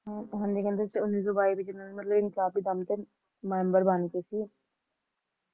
ਹਾਂਜੀ ਕਹਿੰਦੇ Nineteen twenty-two ਦੇ ਵਿੱਚ ਮਤਲਬ ਇੰਕਲਾਬੀ ਦਲ ਦੇ ਮੈਂਬਰ ਬਣਗੇ ਸੀ